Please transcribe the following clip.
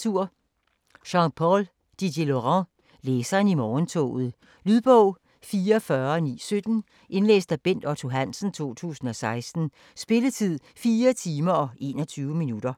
Didierlaurent, Jean-Paul: Læseren i morgentoget Lydbog 44917 Indlæst af Bent Otto Hansen, 2016. Spilletid: 4 timer, 21 minutter.